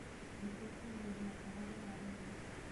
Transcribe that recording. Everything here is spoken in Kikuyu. Nĩtukũarĩrĩa ũhoro wa rĩera